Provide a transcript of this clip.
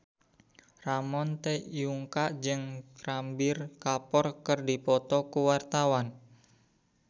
Ramon T. Yungka jeung Ranbir Kapoor keur dipoto ku wartawan